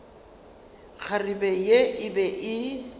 kgarebe ye e be e